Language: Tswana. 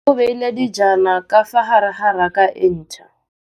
Mmê o beile dijana ka fa gare ga raka e ntšha.